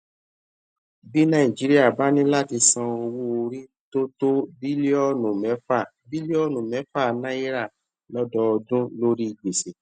bí nàìjíríà bá ní láti san owó orí tó tó bílíònù méfà bílíònù méfà náírà lódọọdún lórí gbèsè